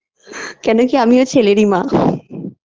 কেননা আমিও ছেলেরই মা